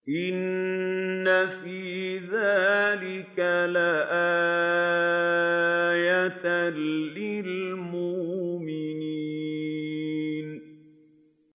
إِنَّ فِي ذَٰلِكَ لَآيَةً لِّلْمُؤْمِنِينَ